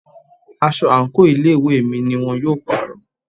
Aṣọ àǹkóò ilé ìwé mi ni wón yóò pàrọ̀.